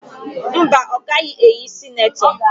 Mba, ọ gaghị eyi sinetọ